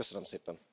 Köszönöm szépen!